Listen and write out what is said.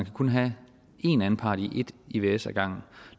kun have en anpart i et ivs ad gangen